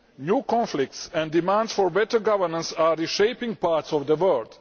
New conflicts and demands for better governance are reshaping parts of the world.